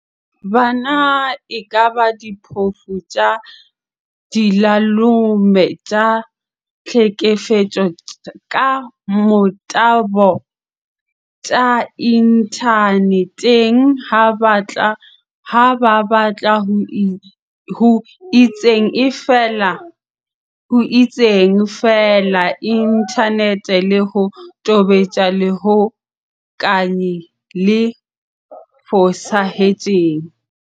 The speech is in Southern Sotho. Bana e kaba diphofu tsa dilalome tsa tlhekefetso ka motabo tsa inthane teng ha ba batla ho itseng feela inthaneteng le ho tobetsa lehokanyi le fosahetseng.